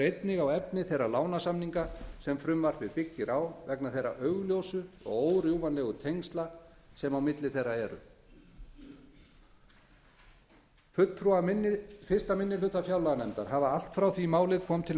einnig á efni þeirra lánasamninga sem frumvarpið byggir á vegna þeirra augljósu og órjúfanlegu tengsla sem á milli þeirra eru fulltrúar fyrsti minni hluta fjárlaganefndar hafa allt frá því að málið kom til